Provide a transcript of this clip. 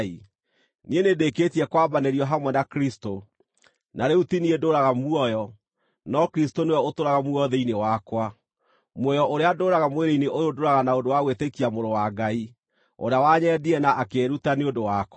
Niĩ nĩndĩkĩtie kwambanĩrio hamwe na Kristũ, na rĩu ti niĩ ndũũraga muoyo, no Kristũ nĩwe ũtũũraga muoyo thĩinĩ wakwa. Muoyo ũrĩa ndũũraga mwĩrĩ-inĩ ũyũ ndũũraga na ũndũ wa gwĩtĩkia Mũrũ wa Ngai, ũrĩa wanyendire na akĩĩruta nĩ ũndũ wakwa.